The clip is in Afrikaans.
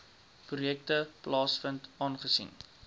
projekte plaasvind aangesien